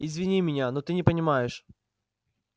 извини меня но ты не понимаешь